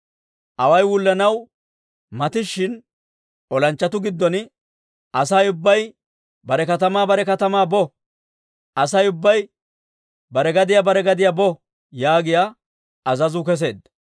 Away wullanaw matishina olanchchatuu giddon, «Asay ubbay bare katamaa bare katamaa bo! Asay ubbay bare gadiyaa bare gadiyaa bo!» yaagiyaa azazuu kesseedda.